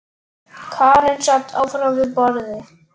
Karen sat áfram við borðið.